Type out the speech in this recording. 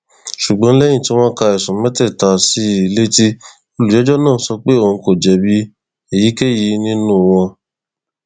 ṣùgbọn lẹyìn tí wọn ka ẹsùn mẹtẹẹta sí i létí olùjẹjọ náà sọ pé òun kò jẹbi èyíkéyìí nínú wọn